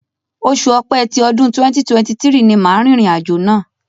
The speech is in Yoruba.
Oṣù Ọ̀pẹ tí ọdún 2023 ni màá rìnrìn àjò náà.